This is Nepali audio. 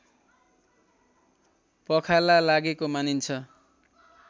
पखाला लागेको मानिन्छ